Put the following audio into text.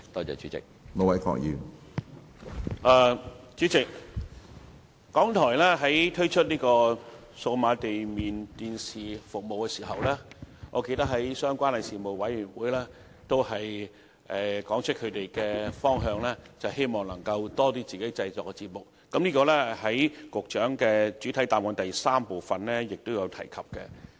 主席，我記得當港台在推出數碼地面電視廣播服務時，他們曾在相關的事務委員會上指出，希望能播放多些自己製作的節目，這在局長主體答覆的第三部分均已提及。